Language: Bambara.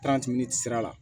sira la